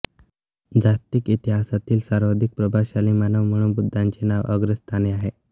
जागतिक इतिहासातील सर्वाधिक प्रभावशाली मानव म्हणून बुद्धांचे नाव अग्रस्थानी आहे